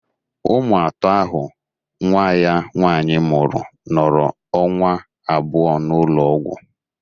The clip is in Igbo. Ụmụ atọ ahụ nwa ya nwaanyị mụrụ nọrọ ọnwa abụọ n'ụlọ ọgwụ